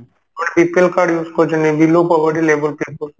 ଲୋକ BPL card use କରୁଛନ୍ତି below poverty level